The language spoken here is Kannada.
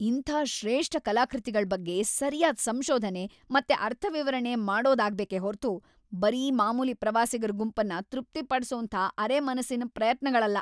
ಇಂಥ ಶ್ರೇಷ್ಠ ಕಲಾಕೃತಿಗಳ್‌ ಬಗ್ಗೆ ಸರ್ಯಾದ್ ಸಂಶೋಧನೆ ಮತ್ತೆ ಅರ್ಥವಿವರಣೆ ಮಾಡೋದಾಗ್ಬೇಕೇ ಹೊರ್ತು ಬರೀ ಮಾಮೂಲಿ ಪ್ರವಾಸಿಗರ ಗುಂಪನ್ನ ತೃಪ್ತಿಪಡ್ಸೋಂಥ ಅರೆಮನಸ್ಸಿನ್ ಪ್ರಯತ್ನಗಳಲ್ಲ‌.